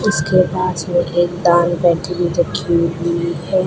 उसके पास में एक दान पेटी रखी हुई है।